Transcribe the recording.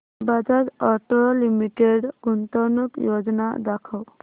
Bajaj Auto Limited गुंतवणूक योजना दाखव